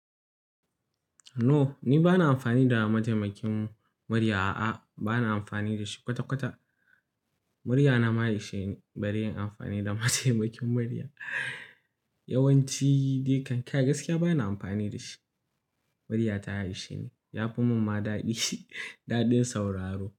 No, ni ba na amfani da mataimakin murya. A'a, ba na amfani da shi kwata-kwata. Muryana ma ya isheni bare in amfani da mataimakin murya. Yawanci dai kankai, gaskiya ba na amfani da shi. Murya ta ya ishi ne, ya fi mun ma daɗi, daɗin sauraro.